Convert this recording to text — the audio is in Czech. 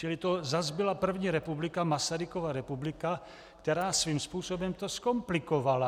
Čili to zase byla první republika, Masarykova republika, která svým způsobem to zkomplikovala.